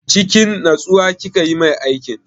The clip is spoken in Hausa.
Cikin natsuwa kika yi mai aikin?